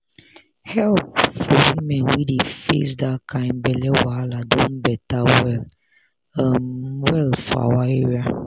help for women wey dey face that kind belle wahala don better well um well for our area